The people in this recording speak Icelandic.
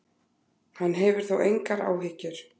Hann hefur þó engar áhyggjur.